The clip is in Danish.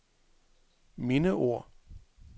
mindeord